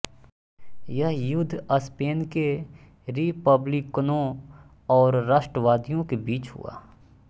यह युद्ध स्पेन के रिपब्लिकनों और राष्ट्रवादियों के बीच हुआ